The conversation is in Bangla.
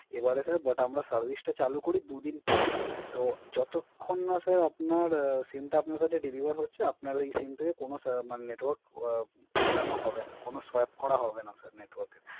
এবার আমি আসি Service টা চালু করি দুদিন পর। তো যতখন না স্যার আপনার SIM টা আপনার কাছে Delivert আপনার ওই SIM থেকে কোন Network উরানো হবে না। কোন Sweep করা হবে না